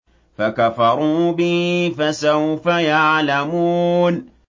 فَكَفَرُوا بِهِ ۖ فَسَوْفَ يَعْلَمُونَ